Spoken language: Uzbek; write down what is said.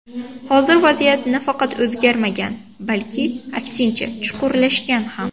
Hozir vaziyat nafaqat o‘zgarmagan, balki, aksincha, chuqurlashgan ham.